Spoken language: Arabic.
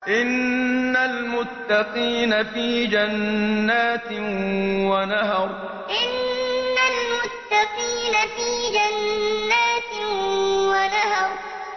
إِنَّ الْمُتَّقِينَ فِي جَنَّاتٍ وَنَهَرٍ إِنَّ الْمُتَّقِينَ فِي جَنَّاتٍ وَنَهَرٍ